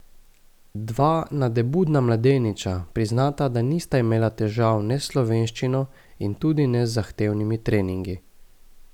Dva nadebudna mladeniča, priznata, da nista imela težav ne s slovenščino, in tudi ne z zahtevni treningi.